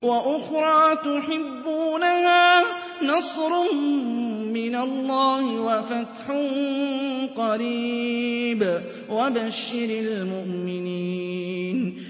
وَأُخْرَىٰ تُحِبُّونَهَا ۖ نَصْرٌ مِّنَ اللَّهِ وَفَتْحٌ قَرِيبٌ ۗ وَبَشِّرِ الْمُؤْمِنِينَ